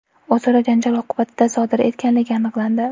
o‘zaro janjal oqibatida sodir etganligi aniqlandi.